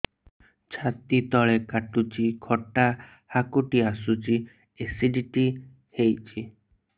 ଛାତି ତଳେ କାଟୁଚି ଖଟା ହାକୁଟି ଆସୁଚି ଏସିଡିଟି ହେଇଚି